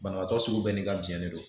Banabaatɔ sugu bɛɛ n'i ka biɲɛ de don